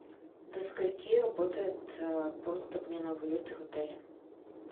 до скольки работает пункт обмена валюты в отеле